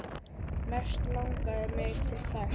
Mest langar mig til þess.